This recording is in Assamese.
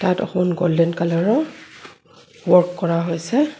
তাত অকল গোল্ডেন কালাৰ ৰ ৱৰ্ক কৰা হৈছে.